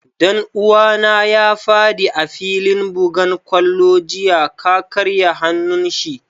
Dan uwa na ya fadi a'filin bugan kwallo jiya, ka karya hanun shi.